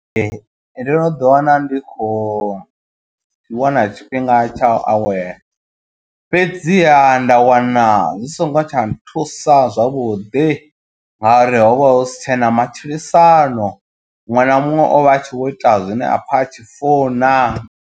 Ee, ndo no ḓi wana ndi khou wana tshifhinga tsha u awela fhedziha nda wana zwi singo tsha thusa zwavhuḓi ngauri ho vha husi tshena matshilisano muṅwe na muṅwe ovha a tshi vho ita zwine apfha a tshi funa.